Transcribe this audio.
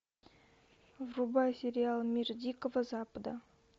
врубай сериал мир дикого запада